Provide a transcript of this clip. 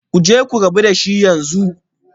Ku je ku rabu da shi yanzu